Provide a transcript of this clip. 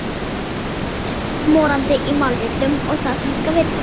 Þetta er allt morandi í málvillum og stafsetningarvillum!